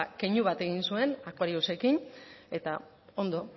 keinu bat egin zuen aquariusekin eta